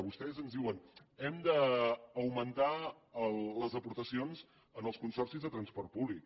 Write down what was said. vostès ens diuen hem augmentar les aportacions en els consorcis de transport públic